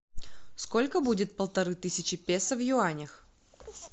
сколько будет полторы тысячи песо в юанях